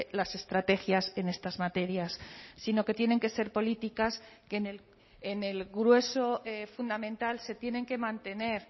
las estrategias en estas materias sino que tienen que ser políticas que en el grueso fundamental se tienen que mantener